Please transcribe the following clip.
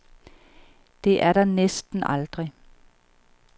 Det er der næsten aldrig.